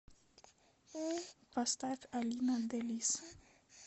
поставь алина делисс